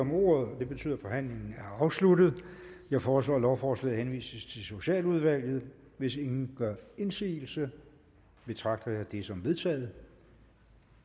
om ordet er forhandlingen afsluttet jeg foreslår at lovforslaget henvises til socialudvalget hvis ingen gør indsigelse betragter jeg det som vedtaget